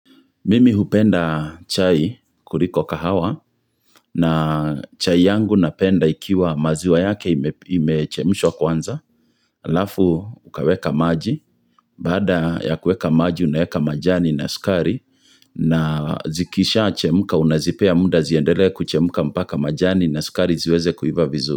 Mimi hupenda chai kuliko kahawa na chai yangu napenda ikiwa maziwa yake imechemshwa kwanza. Alafu ukaweka maji, baada ya kuweka maji unaweka majani na sukari na zikishachemka unazipea muda ziendelee kuchemka mpaka majani na sukari ziweze kuiva vizuri.